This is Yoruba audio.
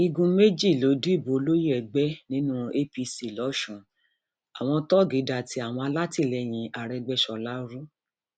igun méjì ló dìbò olóye ẹgbẹ nínú apc lọsùn àwọn tọ́ọ̀gì da ti àwọn alátìlẹyìn arégbèsọlá rú